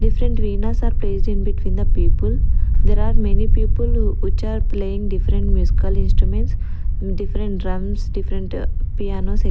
Different are placed in between the people there are many people which are playing different musical instruments different drums different piano--